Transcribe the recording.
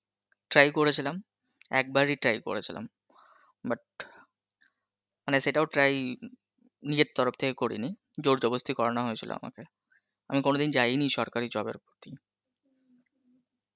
try করেছিলাম একবার ই try করেছিলাম but হ, মানে সেটাও try নিজের তরফ থেকে করিনি জোর জবস্তি করানো হয়েছিল আমাকে, আমি কোনদি যাই ই নি সরকারী জবের